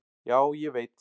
Já, ég veit.